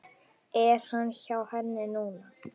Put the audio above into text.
Er hann hjá henni núna?